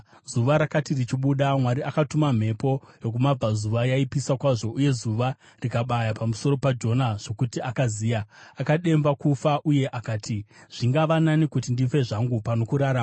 Zuva rakati richibuda, Mwari akatuma mhepo yokumabvazuva yaipisa kwazvo, uye zuva rikabaya pamusoro paJona zvokuti akaziya. Akademba kufa, uye akati, “Zvingava nani kuti ndife zvangu pano kurarama.”